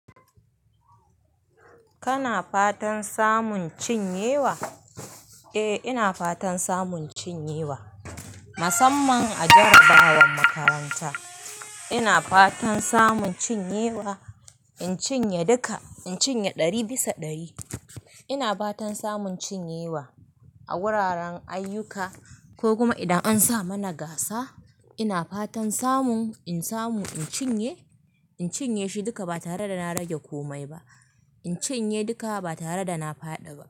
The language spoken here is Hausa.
Kana fatan samun cinyewa? Eh, ina fatan samun cinyewa. Musamman a jarrabawar makaranta. Ina fatan samun cinyewa, in cinye duka. In cinye ɗari bisa ɗari. Ina fatan samun cinyewa a wuraren ayyuka ko kuma idan an sa mana gasa. Ina fatan samun, in samu in cinye, in cinye shi duka ba tare da na rage komai ba. In cinye duka ba tare da na faɗi ba.